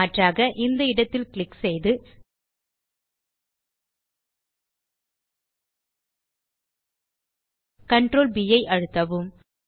மாற்றாக அந்த இடத்தில் க்ளிக் செய்து Ctrl B அழுத்தவும்